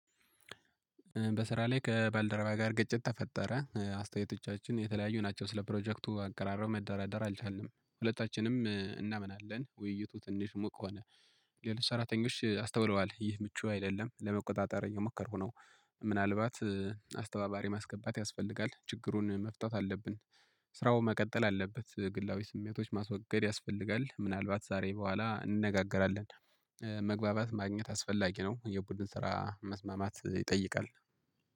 በስራ ላይ ከባልደረባ ጋር ግጭት ተፈጠረ አስተያየቶቻችን የተለያዩ ናቸው ስለ ፕሮጀክቱ አቀራረብ መደራደር አልቻልንም ሁለታችንም እናምናለን ውይይቱ ትንሽ ሞቅ ሆነ። ሌሎች ሰራተኞች አስተውለዋል ይህ ምቹ አይደለም ለመቆጣጠር እየሞከርኩ ነው። ምናልባት አስተባባሪ ማስገባት ያስፈልጋል ችግሩን መፍታት አለብን። ስራው መቀጠል አለበት ግላዊ ስሜቶች ማስወገድ ያስፈልጋል ምናልባት ዛሬ በኋላ እንነጋገራለን። መግባባት ማግኘት አስፈላጊ ነው። የቡድን ስራ መስማማት ይጠይቃል